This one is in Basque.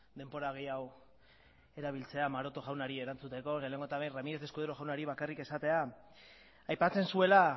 denbora gehiago erabiltzen maroto jaunari erantzuteko lehenengo eta behin ramírez escudero jaunari bakarrik esatea aipatzen zuela